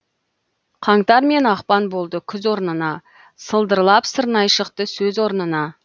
қаңтар мен ақпан болды күз орнына сылдырлап сырнайы шықты сөз орнына